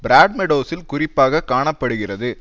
பிராட்மெடோசில் குறிப்பாக காண படுகிறது